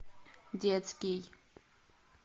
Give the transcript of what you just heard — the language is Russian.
детский